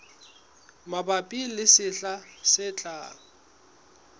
mabapi le sehla se tlang